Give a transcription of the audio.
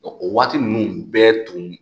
Ɔɔ o waati nunnu bɛ tun